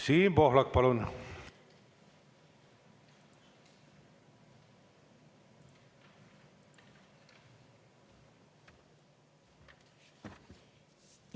Siim Pohlak, palun!